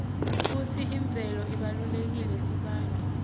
kutsi imvelo ibalulekile kubantfu